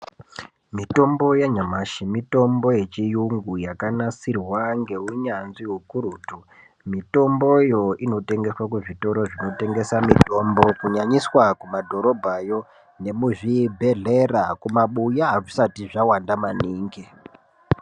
Mitombo yanyamashi mitombo yechiyungu yakanasirwa ngenyanzvi hukurutu mutomboyo inotengeswa kuzvitoro zvinotengesa mitombo kunyanyiswa kumadhorobhayo nemuzvibhehleya kumabuya azvisati zvawanda maningi